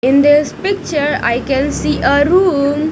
In this picture I can see a room.